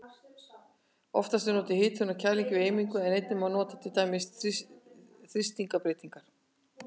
Oftast er notuð hitun og kæling við eimingu en einnig má nota til dæmis þrýstingsbreytingar.